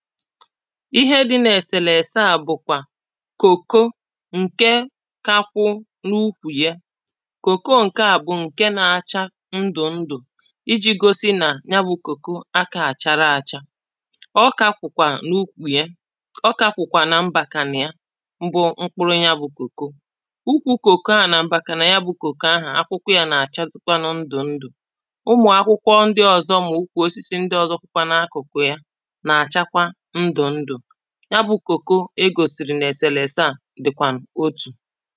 Ihe dị n’èsèlèse à bụ̀kwà kòko ǹke kā kwụ̄ n’ukwù yā Kòko ǹke à bụ̀ ǹke nā-āchā ndụ̀ ndụ̀ ijī gōsī nà ya bụ̄ kòko akā àchara āchā ọ ka kwụ̀kwà n’ukwù yā ọ kà kwụ̀kwà na mbàkànà ya bụ̄ mkpụrụ ya bụ̄ kòko Ukwū kòko ahụ̀ nà m̀bàkànà ya bụ̄ kòko ahụ̀ akwụkwọ yā nà-àchazịkwanụ ndụ̀ ndụ̀ ụmụ̀akwụkwọ ndị ọ̄zọ̄ mà ukwù osisi ndị ọ̄zọ̄ kwụkwa n’akụ̀kụ̀ ya nà-àchakwa ndụ̀ ndụ̀ ya bụ̄ kòko e gòsìrì n’èsèlèse a dị̀kwànụ̀ otù